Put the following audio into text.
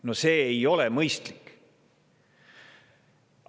No see ei ole mõistlik!